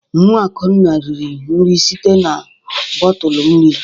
Nwa Akunna riri nri site na bọtụlụ nri.